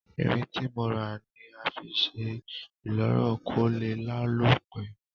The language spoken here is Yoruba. Irin tí mo rà ni a fi sé ìloro ko lé lálò pe